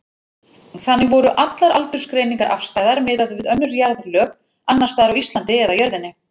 Þannig voru allar aldursgreiningar afstæðar miðað við önnur jarðlög, annars staðar á Íslandi eða jörðinni.